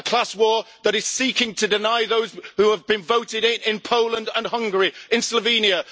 A class war that is seeking to deny those who have been voted in in Poland and Hungary, in Slovenia.